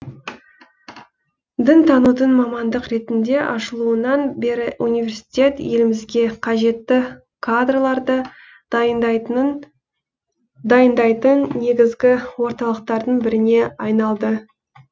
дінтанудың мамандық ретінде ашылуынан бері университет елімізге қажетті кадрларды дайындайтын негізгі орталықтардың біріне айналды